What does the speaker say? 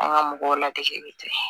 An ka mɔgɔw ladege bɛ ten